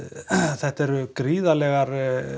þetta eru gríðarlegar